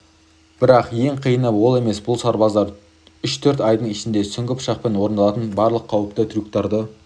бірақ ең қиыны ол емес бұл сарбаздар үш-төрт айдың ішінде сүңгі пышақпен орындалатын барлық қауіпті трюктарды